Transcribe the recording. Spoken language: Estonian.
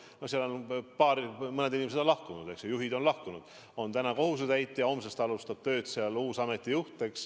No sealt on mõned inimesed lahkunud, juhid on lahkunud, täna on seal tööl kohusetäitja, homsest alustab tööd ameti uus juht.